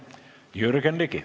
Jürgen Ligi.